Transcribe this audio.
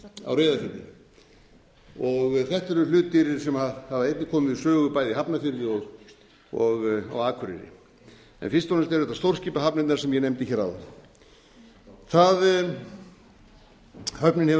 á reyðarfirði þetta eru hlutir sem hafa einnig komið við sögu bæði í hafnarfirði og á akureyri en fyrst og fremst eru þetta stórskipahafnirnar sem ég nefndi hér áðan höfnin hefur